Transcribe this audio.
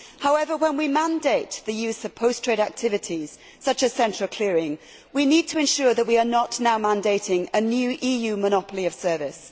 However, when we mandate the use of post trade activities, such as central clearing, we need to ensure that we are not now mandating a new EU monopoly of service.